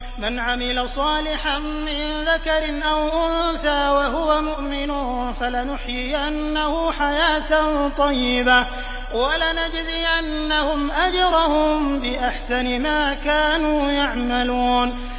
مَنْ عَمِلَ صَالِحًا مِّن ذَكَرٍ أَوْ أُنثَىٰ وَهُوَ مُؤْمِنٌ فَلَنُحْيِيَنَّهُ حَيَاةً طَيِّبَةً ۖ وَلَنَجْزِيَنَّهُمْ أَجْرَهُم بِأَحْسَنِ مَا كَانُوا يَعْمَلُونَ